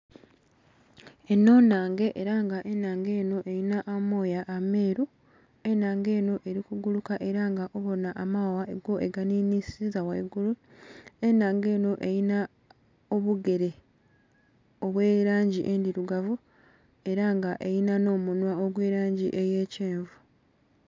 Eno nnhange ela nga ennhange eno elinha amoya ameeru, ennhange eno eli kuguluka ela nga obona amaghagha go eganhinhisiza ghaigulu, ennhange eno elinha obugere obw'elangi endhirugavu era nga elinha nh'omunhwa egw'elangi eya kyenvu.